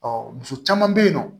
muso caman bɛ yen nɔ